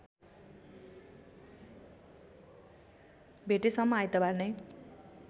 भेटेसम्म आइतबार नै